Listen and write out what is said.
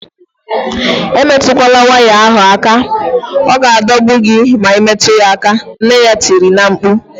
Emetukwala waya ahu aka! Ọ ga-adọgbu gị ma imetụ ya aka, nne ya tiri na-mkpu